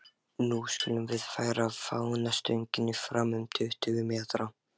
Nú skulum við færa fánastöngina fram um tuttugu metra.